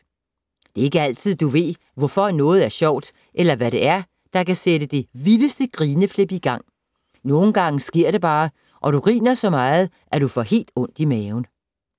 Det er ikke altid, du ved, hvorfor noget er sjovt eller hvad det er, der kan sætte det vildeste grineflip i gang. Nogen gange sker det bare og du griner så meget, at du får helt ondt i maven.